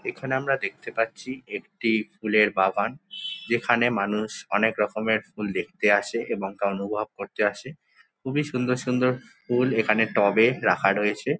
এখানে আমরা দেখতে পাচ্ছি একটি ফুলের বাগান এখানে মানুষ অনেক রকমের ফুল দেখতে আসে এবং অনুভব করতে আসে খুবই সুন্দর সুন্দর ফুল এখানে টবে রাখা রয়েছে।